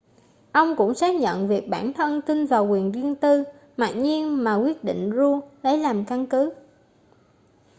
ông cũng xác nhận việc bản thân tin vào quyền riêng tư mặc nhiên mà quyết định roe lấy làm căn cứ